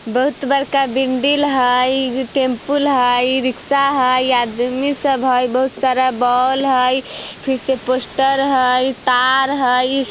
बहुत बड़का बिल्डिंग हई यह टेंपुल हई रिक्शा हई आदमी सब हई बहुत सारा बोल बल्ब हई फिर से पोस्टर हई तार हाई।